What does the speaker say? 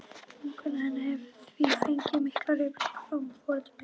Vinkona mín hefur því fengið miklar upplýsingar frá foreldrum ykkar.